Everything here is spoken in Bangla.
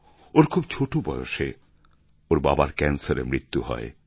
ওর খুব ছোটো বয়সে ওর বাবার ক্যান্সারে মৃত্যু হয়